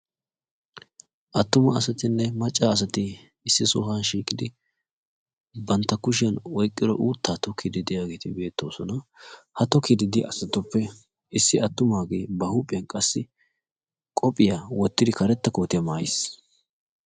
Attuma asatinne macca asati issi sohuwa shiiqidi banttaa kushshiyan oyqqiddo uuttaa tokkidi diyageeti bettoosona. Ha tokkidi de'iya asatuppe issi attumaagee ba huuphphiyan qassi qophphiya wottidi karettaa kootiya maayiis